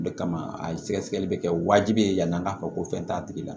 O de kama a sɛgɛsɛgɛli be kɛ wajibi ye yani an k'a fɔ ko fɛn t'a tigi la